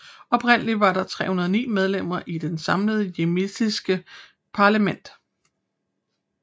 Oprindeligt var der 309 medlemmer i det samlede yemenitiske parlament